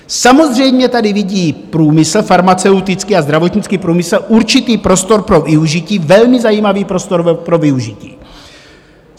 Samozřejmě tady vidí průmysl farmaceutický a zdravotnický průmysl určitý prostor pro využití, velmi zajímavý prostor pro využití.